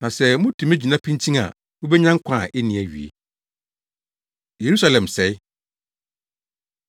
Na sɛ mutumi gyina pintinn a, mubenya nkwa a enni awiei.” Yerusalem Sɛe